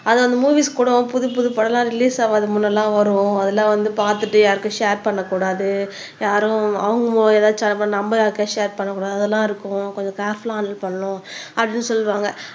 அது வந்து மூவிஸ் கூடவும் புதுப்புது படம்லாம் ரிலீஸ் முன்னெல்லாம் வரும் அதெல்லாம் வந்து பார்த்துட்டு யாருக்கும் ஷேர் பண்ணக் கூடாது யாரும் அவங்க எதாச்சும் அனுப்புனா நம்ப ஷேர் பண்ணக் கூடாது அதெல்லாம் இருக்கும் கொஞ்சம் கேர்புல்லா ஹாண்டில் பண்ணணும் அப்படின்னு சொல்லுவாங்க